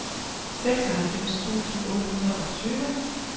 seksoghalvfems tusind otte hundrede og tyve